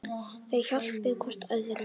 Þau hjálpa hvort öðru.